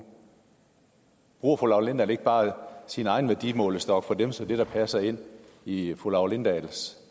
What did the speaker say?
bruger fru laura lindahl ikke bare sin egen værdimålestok på dem til det der passer ind i fru laura lindahls